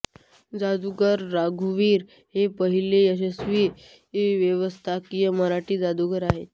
जादूगार रघुवीर हे पाहिले यशस्वी व्यावसायिक मराठी जादुगार आहेत